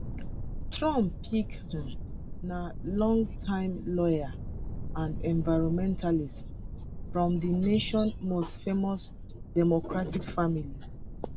trump pick um na longtime lawyer and environmentalist um from di nation most famous democratic family